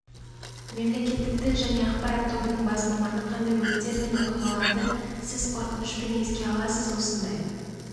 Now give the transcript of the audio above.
мемлекеттік тіл және ақпарат тобының бас маманы қандай өрттер мен оқиғаларды сіз қорқынышпен еске аласыз осындай